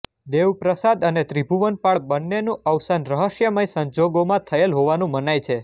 દેવપ્રસાદ અને ત્રિભુવનપાળ બન્નેનું અવસાન રહસ્યમય સંજોગોમાં થયેલ હોવાનું મનાય છે